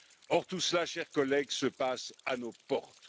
Or tout cela, chers collègues, se passe à nos portes.